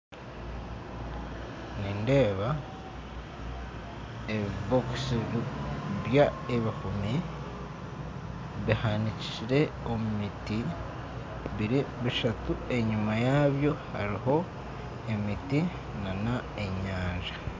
Nindeeba ebibookisi by'ebihuumi bihanikirwe omu miti biri bishatu enyima yaabyo hariyo emiti endiijo n'enyanja